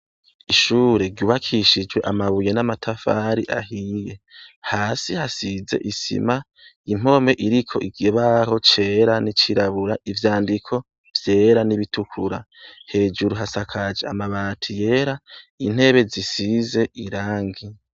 Ishure ryubakishijwe amabuye n’amatafari ahiye, hasi hasize isima, impome iriko ikibaho cera n’icirabura. ivyandiko, vyera n’ibitukura, hejuru hasakaje amabati yera, intebe zisize irangi.